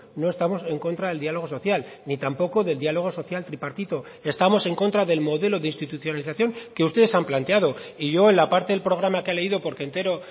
no estamos en contra del diálogo social ni tampoco del diálogo social tripartito estamos en contra del modelo de institucionalización que ustedes han planteado y yo en la parte del programa que ha leído porque entero